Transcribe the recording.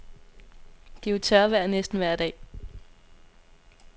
Det er jo tørvejr næsten vejr dag.